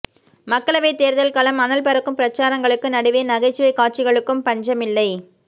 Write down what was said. மக்களவைத் தேர்தல்களம் அனல் பறக்கும் பிரசாரங்களுக்கு நடுவே நகைச்சுவை காட்சிகளுக்கும் பஞ்சமில்லை